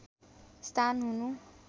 स्थान हुनु